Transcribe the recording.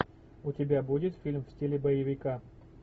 у тебя будет фильм в стиле боевика